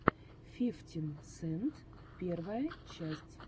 фифтин сент первая часть